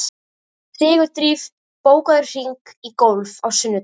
Sigurdríf, bókaðu hring í golf á sunnudaginn.